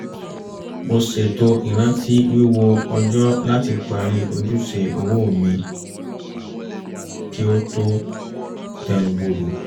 mo ṣètò ìrántí wíwo ọjọ́ láti parí ojúṣe owó mi kí ó tó tẹnubodò